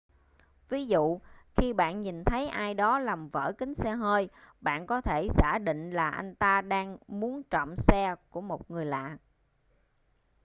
ví dụ khi bạn nhìn thấy ai đó làm vỡ kính xe hơi bạn có thể giả định là anh ta đang muốn trộm xe của một người lạ